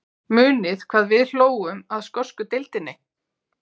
Muniði hvað við hlógum að skosku deildinni?